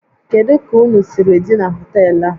Kedu ka ụnụ siri dị na họtel a?